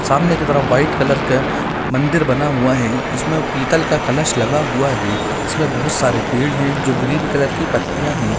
सामने की तरफ वाइट कलर के मंदिर बना हुआ है उसमे पीतल का कलश लगा हुआ है इसमें बहुत सारे पेड़ है जो ग्रीन कलर की पत्तियाँ है।